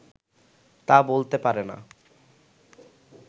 তা বলতে পারে না